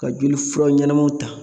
Ka jolifura ɲɛnamaw ta